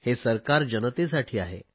हे सरकार जनतेसाठी आहे